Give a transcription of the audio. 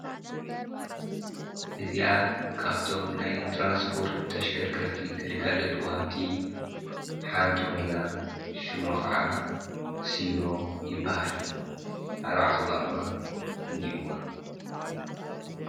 እዚካብቶም ናይ ትራንስጶርት ተሽከርከርቲ ግልጋለቱ ወሃብቲ ሓንቲ ኾይና ሹሞ ኸዓ ሢኖ ይበሃል ኣርባዓተ ጓማ እንሂዋ።